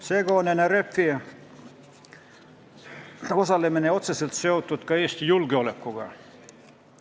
Seega on NRF-i osalemine otseselt seotud ka Eesti julgeolekuga.